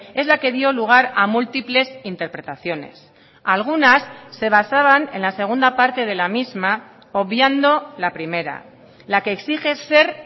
es la que dio lugar a múltiples interpretaciones algunas se basaban en la segunda parte de la misma obviando la primera la que exige ser